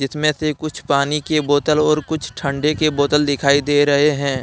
इसमें से कुछ पानी की बोतल और कुछ ठंडे के बोतल दिखाई दे रहे हैं।